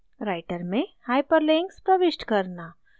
writer में hyperlinks प्रविष्ट करना